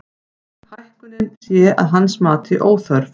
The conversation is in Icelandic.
Hækkunin sé að hans mati óþörf